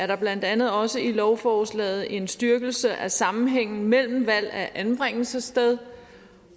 der blandt andet også i lovforslaget en styrkelse af sammenhængen mellem valg af anbringelsessted